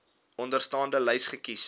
onderstaande lys kies